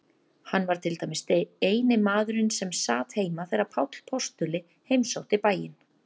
Hann var til dæmis eini maðurinn sem sat heima þegar Páll postuli heimsótti bæinn.